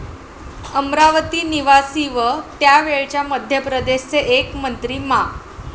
अमरावती निवासी व त्यावेळच्या मध्यप्रदेश चे एक मंत्री मा.